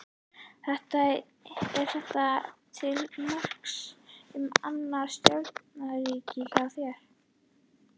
Er þetta til marks um annan stjórnunarstíl hjá þér?